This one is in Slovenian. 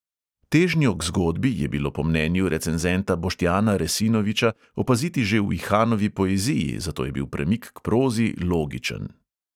Težnjo k zgodbi je bilo po mnenju recenzenta boštjana resinoviča opaziti že v ihanovi poeziji, zato je bil premik k prozi logičen.